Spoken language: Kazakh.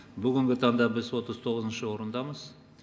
бүгінгі таңда біз отыз тоғызыншы орындамыз